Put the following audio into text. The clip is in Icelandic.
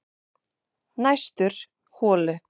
Næstur holu